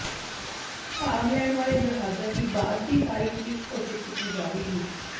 ਭਾਗ ਲੈਣ ਵਾਲੇ ਜਹਾਜ਼ਾਂ ਦੀ ਬਾਅਦ ਦੀ ਤਾਰੀਖ਼ ਵਿਚ ਘੋਸ਼ਿਤ ਕੀਤੀ ਜਾਵੇਗੀ